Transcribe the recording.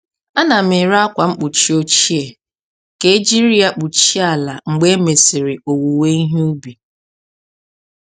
A na m ere akwa mkpuchi ochie ka e jiri ya kpuchie ala mgbe e mesịrị owuwe ihe ubi.